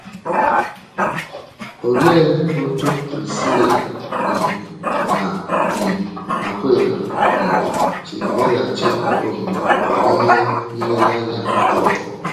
Olee otú Prisịla um na um Akwịla um si meghachi omume n’ịhè nleleanya Pọl?